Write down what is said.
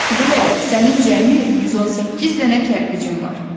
Kudu Lələ, sənin cəmi 118 dənə kərpicim var.